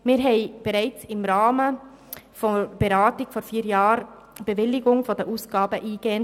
Wir haben die Bewilligung der Ausgaben bereits im Rahmen der Beratung vor vier Jahren eingehend prüfen können.